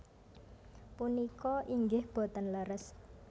Punika inggih boten leres